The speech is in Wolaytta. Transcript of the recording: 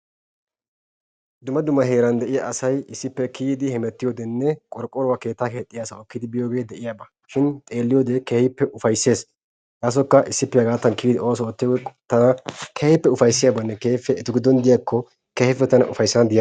Dumma dumma heeran de'iya asay issippe kiyidi hemmettiyoodenne qorqqoruwaa keettaa asawu ekkidi biyoogee de'iyaaba. shin xeeliyoode keehippe ufayssees. kasekka issippe kiyidi hegaadan oosuwa oottiyoogee tana keehippe ufayssiyaabanne etu giddon diyako keehippe ufaysana